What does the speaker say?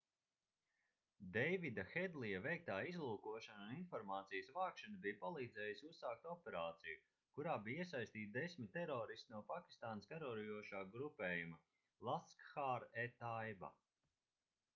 deivida hedlija veiktā izlūkošana un informācijas vākšana bija palīdzējusi uzsākt operāciju kurā bija iesaistīti 10 teroristi no pakistānas karojošā grupējuma laskhar-e-taiba